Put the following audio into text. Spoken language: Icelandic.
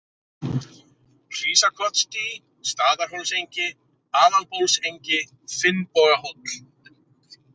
Hrísakotsdý, Staðarhólsengi, Aðalbólsengi, Finnbogahóll